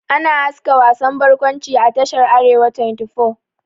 Ana haska wasan bakwanci a tashar "arewa 24 ''